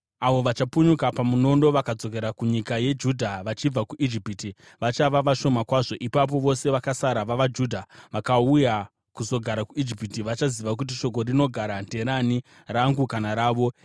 Avo vachapunyuka pamunondo vakadzokera kunyika yeJudha vachibva kuIjipiti vachava vashoma kwazvo. Ipapo vose vakasara vavaJudha vakauya kuzogara kuIjipiti vachaziva kuti shoko rinogara nderani, rangu kana ravo.